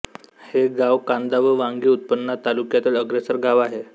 हे गाव कांदा व वांगी उत्पन्नात तालुक्यातील अग्रेसर गाव आहे